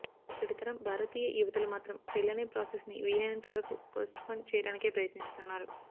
ఇప్పటి తరం భారతీయ యువతులు మాత్రం పెళ్లనే ప్రాసెస్ ని వీలైనంత వరకూ పోస్ట్ పోన్ చేయడానికే ప్రయత్నిస్తున్నారు